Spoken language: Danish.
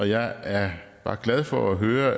jeg var glad for at høre